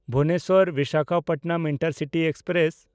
Bhubaneswar Visakhapatnam intercity express